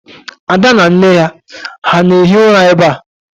Ada na nne ya ha na-ehi ụra ebe a?